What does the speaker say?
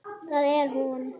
Það er hún.